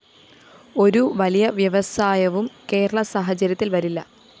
ഒരു വലിയ വ്യവസായവും കേരള സാഹചര്യത്തില്‍ വരില്ല